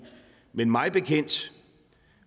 men mig bekendt